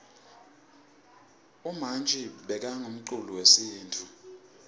umanji bekangumculi wesintfu